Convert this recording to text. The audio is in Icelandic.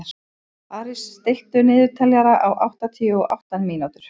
Aris, stilltu niðurteljara á áttatíu og átta mínútur.